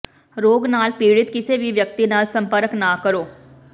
ਰੋਗ ਨਾਲ ਪੀੜਤ ਕਿਸੇ ਵੀ ਵਿਅਕਤੀ ਨਾਲ ਸੰਪਰਕ ਨਾ ਕਰੋ